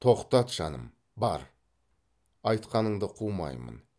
тоқтат жаным бар айтқаныңды қумаймын